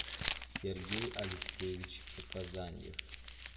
сергей алексеевич показаньев